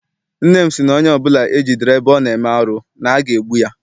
Nne m sị na onye ọbụla e jidere ebe ọ na-eme arụ na aga egbu ya.